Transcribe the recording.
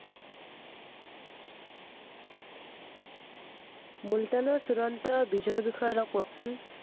মুলতানৰ চূড়ান্ত বিজয়ৰ বিষয়ে অলপ কওঁকচোন।